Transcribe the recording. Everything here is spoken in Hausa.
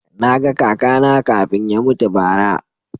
Na ga kaka na kafin ya mutu bara